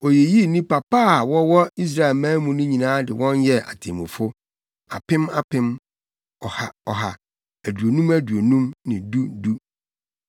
Oyiyii nnipa pa a wɔwɔ Israelman mu nyinaa de wɔn yɛɛ atemmufo—apem apem, ɔha ɔha, aduonum aduonum ne du du.